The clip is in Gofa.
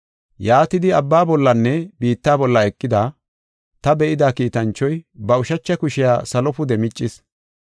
Yaatidi, abba bollanne biitta bolla eqida, ta be7ida kiitanchoy, ba ushacha kushiya salo pude miccis.